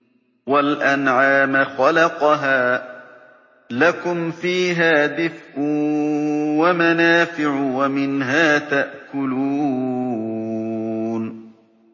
وَالْأَنْعَامَ خَلَقَهَا ۗ لَكُمْ فِيهَا دِفْءٌ وَمَنَافِعُ وَمِنْهَا تَأْكُلُونَ